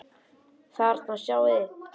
Þarna sjáið þið.